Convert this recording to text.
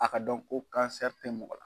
A ka dɔn ko tɛ mɔgɔ la.